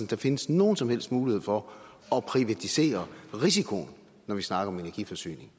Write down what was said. der findes nogen som helst mulighed for at privatisere risikoen når vi snakker om energiforsyning